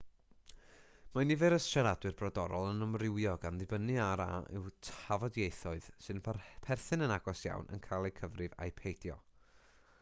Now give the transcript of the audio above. mae nifer y siaradwyr brodorol yn amrywio gan ddibynnu ar a yw tafodieithoedd sy'n perthyn yn agos iawn yn cael eu cyfrif ai peidio